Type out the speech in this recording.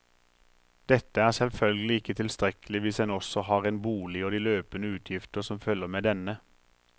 Dette er selvfølgelig ikke tilstrekkelig hvis en også har en bolig og de løpende utgifter som følger med denne.